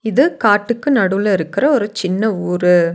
இது காட்டுக்கு நடுவுல இருக்ற ஒரு சின்ன ஊரு.